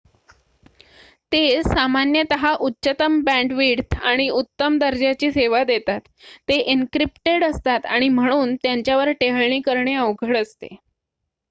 ते सामान्यतः उच्चतम बँडविड्थ आणि उत्तम दर्जाची सेवा देतात ते एनक्रिप्टेड असतात आणि म्हणून त्यांच्यावर टेहळणी करणे अवघड असते